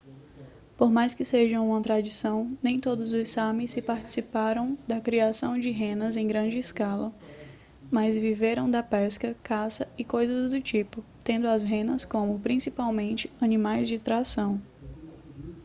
por mais que seja uma tradição nem todos os sami se participaram da criação de renas em grande escala mas viveram da pesca caça e coisas do tipo tendo as renas como principalmente animais de tração